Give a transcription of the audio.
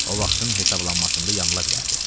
O vaxtın hesablanmasında yanıla bilərdi.